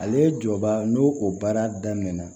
Ale ye jɔba n'o o baara daminɛna